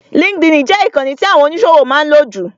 LinkedIn jẹ ìkànì tí àwọn oníṣòwò máa ń lò jù.